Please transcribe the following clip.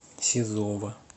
сизова